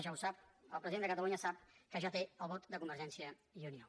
ja ho sap el president de catalunya sap que ja té el vot de convergència i unió